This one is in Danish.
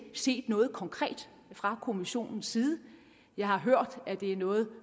set noget konkret fra kommissionens side jeg har hørt at det er noget